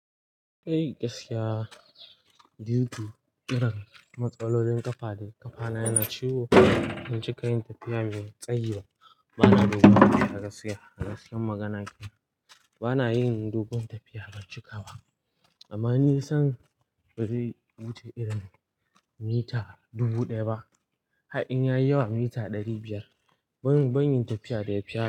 Eh, gaskiya. Due to irin matsalolin kafa da kafa na yana ciwo, ban cika yin tafiya mai tsayiba bana doguwa. A gaskiya, a gaskiyar magana kenan, bana yin dogon tafiya baccika ba. Amma ni san bari wuce irin mita dubu daya ba. Ha in ya yi yawa, mita dari biyar. Ban, ban yi tafiya da ya fiya.